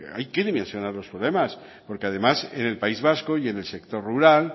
hay que dimensionar los problemas porque además en el país vasco y en sector rural